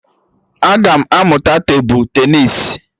Aga m amụta tebụl tenịs